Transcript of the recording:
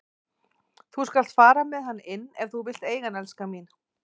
Þú skalt fara með hann inn ef þú vilt eiga hann, elskan mín.